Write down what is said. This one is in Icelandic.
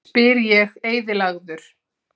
spyr ég eyðilagður.